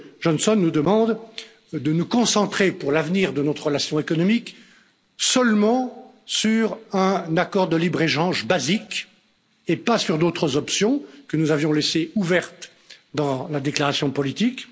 Johnson nous demande de nous concentrer pour l'avenir de notre relation économique seulement sur un accord de libre échange basique et pas sur d'autres options, que nous avions laissées ouvertes dans la déclaration politique.